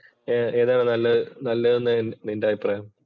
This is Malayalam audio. ഏതാണ് നല്ലത് എന്നാണ് നിന്‍റെ അഭിപ്രായം?